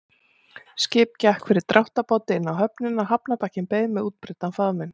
Skip gekk fyrir dráttarbáti inn á höfnina, hafnarbakkinn beið með útbreiddan faðminn.